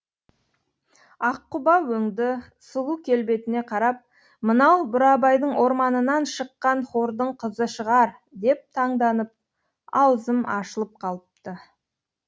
аққұба өңді сұлу келбетіне қарап мынау бурабайдың орманынан шыққан хордың қызы шығар деп таңданып аузым ашылып қалыпты